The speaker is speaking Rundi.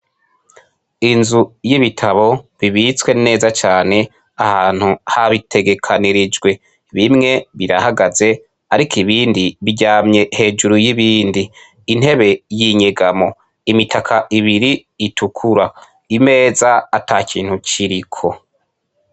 Inzu y'ibitabo bibitswe neza cane ahantu habitegekeranijwe, bimwe birahagaze ariko ibindi biryamye hejuru y'ibindi, intebe y'inyegamo, imitaka ibiri itukura, imeza ata kintu kiriko.